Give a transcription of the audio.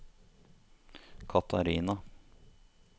Catharina